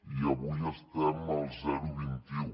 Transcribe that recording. i avui estem al zero coma vint un